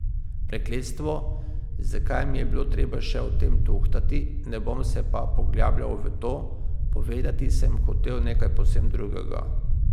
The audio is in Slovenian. Prekletstvo, zakaj mi je bilo treba še o tem tuhtati, ne bom se pa poglabljal v to, povedati sem hotel nekaj povsem drugega.